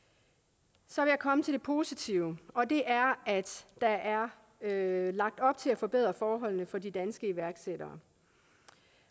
så vil jeg komme til det positive og det er at der er lagt op til at forbedre forholdene for de danske iværksættere